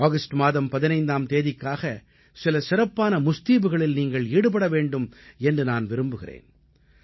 August மாதம் 15ஆம் தேதிக்காக சில சிறப்பான முஸ்தீபுகளில் நீங்கள் ஈடுபட வேண்டும் என்று நான் விரும்புகிறேன்